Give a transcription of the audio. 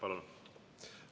Palun!